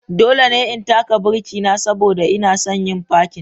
Dole ne in taka birki na saboda ina son yin fakin.